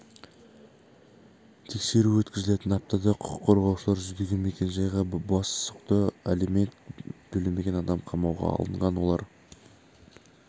тексеру өткізілген аптада құқық қорғаушылар жүздеген мекен жайға бас сұқты алимент төлемеген адам қамауға алынған олар